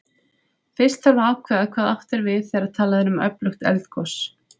Fyrst þarf að ákveða hvað átt er við þegar talað er um öflugt eldgos.